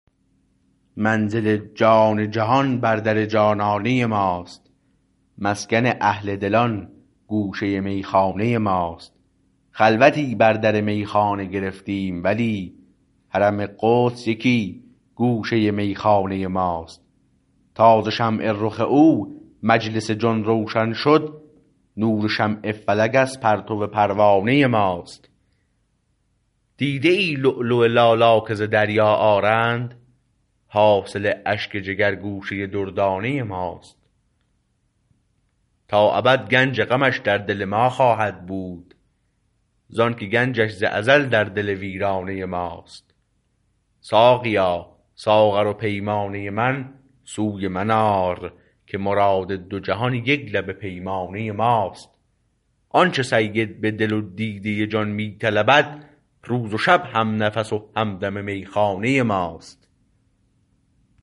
منزل جان جهان بر در جانانه ماست مسکن اهل دلان گوشه میخانه ماست خلوتی بر در میخانه گرفتیم ولی حرم قدس یکی گوشه میخانه ماست تا ز شمع رخ او مجلس جان روشن شد نور شمع فلک از پرتو پروانه ماست دیده ای لؤلؤ لالا که ز دریا آرند حاصل اشک جگر گوشه دردانه ماست تا ابد گنج غمش در دل ما خواهد بود زانکه گنجش ز ازل در دل ویرانه ماست ساقیا ساغر و پیمانه من سوی من آر که مراد دو جهان یک لب پیمانه ماست آنچه سید به دل و دیده جان می طلبد روز و شب همنفس و همدم میخانه ماست